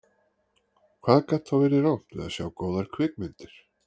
Hvað gat þá verið rangt við að sjá góðar kvikmyndir?